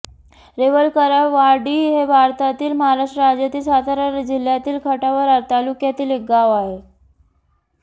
रेवळकरवाडी हे भारतातील महाराष्ट्र राज्यातील सातारा जिल्ह्यातील खटाव तालुक्यातील एक गाव आहे